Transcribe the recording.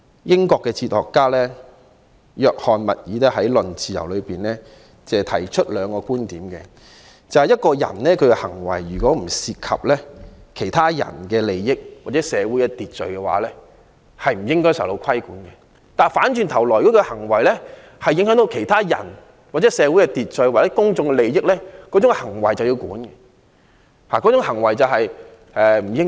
英國哲學家約翰.密爾在《論自由》中提出兩個觀點，即如果一個人的行為不涉及其他人的利益或社會秩序，便不應該受到規管，但如果他的行為影響其他人、社會秩序或公眾利益，這種行為便不妥，應受到規管。